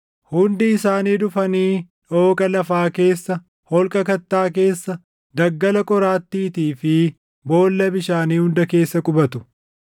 Hundi isaanii dhufanii dhooqa lafaa keessa, holqa kattaa keessa, daggala qoraattiitii fi boolla bishaanii hunda keessa qubatu.